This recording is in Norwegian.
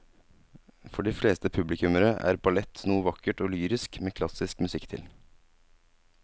For de fleste publikummere er ballett noe vakkert og lyrisk med klassisk musikk til.